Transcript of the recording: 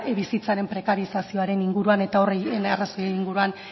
bizitzaren prekarizasioaren inguruan eta horri arrazoi inguruan